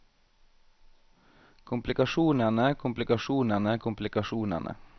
komplikasjonene komplikasjonene komplikasjonene